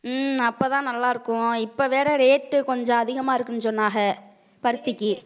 உம் அப்பதான் நல்லா இருக்கும். இப்ப வேற rate கொஞ்சம் அதிகமா இருக்குன்னு சொன்னாங்க. பருத்திக்கு